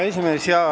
Hea esimees!